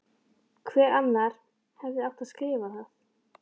Hver annar hefði átt að skrifa það?